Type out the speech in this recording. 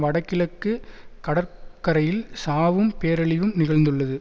வடகிழக்கு கடற்கரையில் சாவும் பேரழிவும் நிகழ்ந்துள்ளது